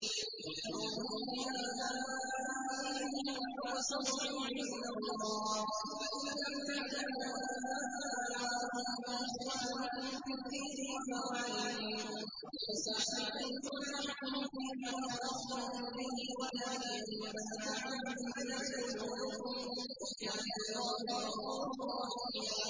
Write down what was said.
ادْعُوهُمْ لِآبَائِهِمْ هُوَ أَقْسَطُ عِندَ اللَّهِ ۚ فَإِن لَّمْ تَعْلَمُوا آبَاءَهُمْ فَإِخْوَانُكُمْ فِي الدِّينِ وَمَوَالِيكُمْ ۚ وَلَيْسَ عَلَيْكُمْ جُنَاحٌ فِيمَا أَخْطَأْتُم بِهِ وَلَٰكِن مَّا تَعَمَّدَتْ قُلُوبُكُمْ ۚ وَكَانَ اللَّهُ غَفُورًا رَّحِيمًا